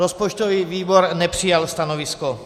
Rozpočtový výbor nepřijal stanovisko.